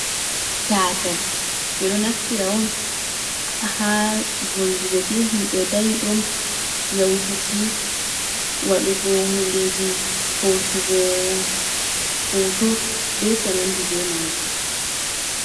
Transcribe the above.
Tatal be do naftira on ha voldugo be himbe dayi dum, yautuki wadugo hundeji hosugo hoto be ko nandi be majum.